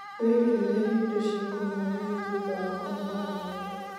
wĩgirĩrĩrie indo cia kũnyua hehu thutha wa kũnogora mwĩrĩ